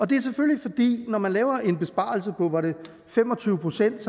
det er selvfølgelig fordi når man laver en besparelse på var det fem og tyve procent